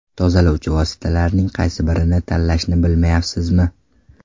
Tozalovchi vositalarning qaysi birini tanlashni bilmayapsizmi?